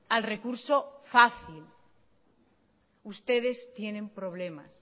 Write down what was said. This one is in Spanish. al recurso fácil ustedes tienen problemas